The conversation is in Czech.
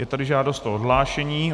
Je tady žádost o odhlášení.